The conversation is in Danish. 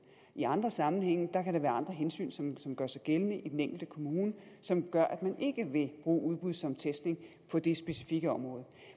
i andre sammenhænge kan der være andre hensyn som som gør sig gældende i den enkelte kommune som gør at man ikke vil bruge udbud som testning på det specifikke område